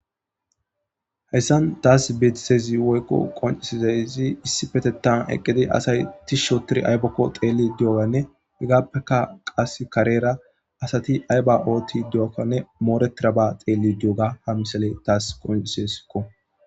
heyssan taas betsezi woykko qoncisizayzi issi petetan eqqidi asay ti shootir aybakko xeelli dioganne igaappeka qas kareera asati ayba ooti di7okkanne mooretira ba xeelli doga ha misale taas qonciseskko